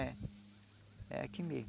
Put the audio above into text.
É. É aqui mesmo.